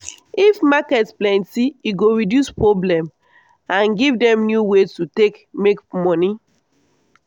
if market plenty e go reduce problem and give dem new way to take make money.